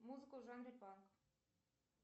музыку в жанре панк